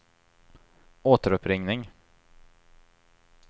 återuppringning